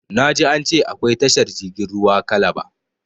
Na ji an ce akwai tashar jirgin ruwa kalaba